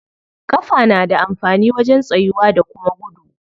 Ƙafa na da amfani wajen tsayuwa da kuma gudu.